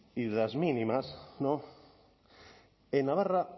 y de las mínimas en navarra